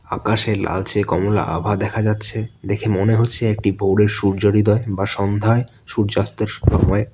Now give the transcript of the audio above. আকাশে লালচে কমলা আভা দেখা যাচ্ছে দেখে মনে হচ্ছে একটি ভোরের সূর্য হৃদয় বা সন্ধ্যায় সূর্যাস্তের সময়।